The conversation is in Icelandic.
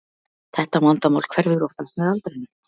Þetta vandamál hverfur oftast með aldrinum.